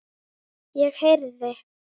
Ég heyrði